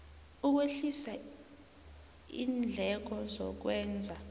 ukwehlisa iindleko zokwenza